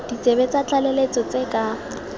ditsebe tsa tlaleletso tse ka